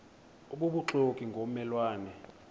obubuxoki ngomme lwane